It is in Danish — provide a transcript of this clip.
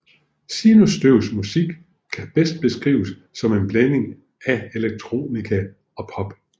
Sinusstøvs musik kan bedst beskrives som en blanding af electronica og pop